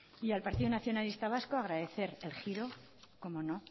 al partido nacionalista vasco agradecer el giro cómo no